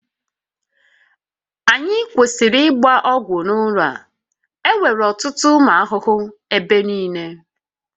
Anyị kwesịrị ịgba ọgwụ n'ụlọ a, enwere ọtụtụ ụmụ ahụhụ n'ebe niile